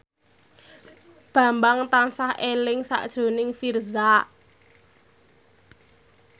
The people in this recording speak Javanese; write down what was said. Bambang tansah eling sakjroning Virzha